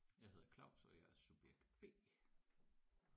Jeg hedder Claus og jeg er subjekt B